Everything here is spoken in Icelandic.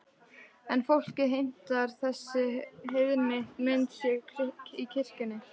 En fólkið heimtar að þessi heiðna mynd sé í kirkjunni.